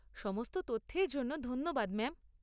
সমস্ত তথ্যের জন্য ধন্যবাদ ম্যাম।